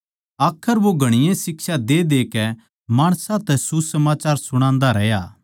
आखर वो घणीए शिक्षा दे देकै माणसां तै सुसमाचार सुणान्दा रह्या